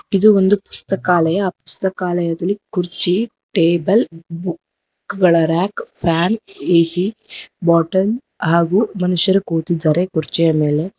ಇದು ಒಂದು ಪುಸ್ತಕಾಲಯ ಪುಸ್ತಕಾಲಯದಲ್ಲಿ ಕುರ್ಚಿ ಟೇಬಲ್ ಬುಕ್ ಗಳ ರಾಕ್ ಫ್ಯಾನ್ ಎ_ಸಿ ಬಾಟಲ್ ಹಾಗೂ ಮನುಷ್ಯರು ಕೂತಿದ್ದಾರೆ ಕುರ್ಚಿಯ ಮೇಲೆ.